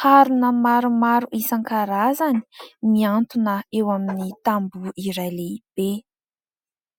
harona maromaro isan-karazany miantona eo amin'ny tamboho iray lehibe.